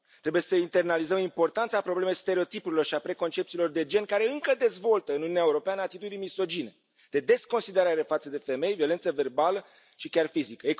Trebuie să internalizăm importanța problemei stereotipurilor și a preconcepțiilor de gen, care încă dezvoltă în Uniunea Europeană atitudini misogine, de desconsiderare față de femei, violență verbală și chiar fizică.